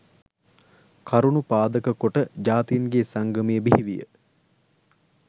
කරුණු පාදක කොට ජාතීන්ගේ සංගමය බිහිවිය